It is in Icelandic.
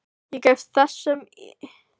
Ég gef þessum ymjandi söng ekki angist mína.